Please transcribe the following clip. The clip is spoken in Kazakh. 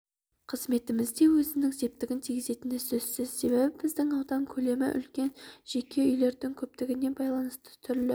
қызметімізде өзінің септігін тигізетіні сөзсіз себебі біздің аудан көлемі үлкен жеке үйлердің көптігіне байланысты түрлі